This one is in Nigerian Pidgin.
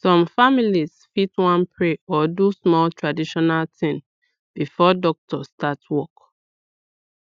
some families fit wan pray or do small traditional thing before doctor start work